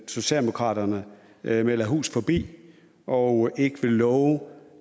socialdemokraterne melder hus forbi og ikke vil love